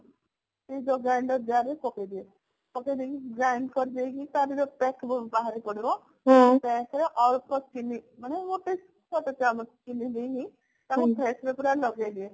ଯୋଉ grinder jar ରେ ପକେଇ ଦିଏ ପକେଇ ଦେଇକି grained କରି ଦେଇକି ତାର ଯୋଊ pest ବାହାରି ପଡିବ ଅଳ୍ପ ଚିନି ମାନେ ମାନେ ଗୋଟେ ଛୋଟ ଚାମଚ ଚିନି ଦେଇ ତାକୁ face ରେ ପୁରା ଲଗେଇ ଦିଏ